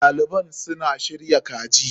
Ɗaliban suna shirya kaji.